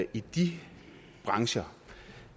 i de brancher